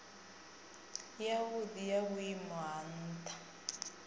yavhudi ya vhuimo ha ntha